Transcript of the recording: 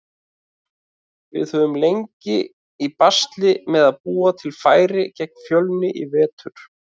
Við höfum lent í basli með að búa til færi gegn Fjölni í vetur.